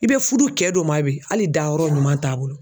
I be fudu kɛ dɔ min ma bi hali dayɔrɔ ɲuman t'a bolo.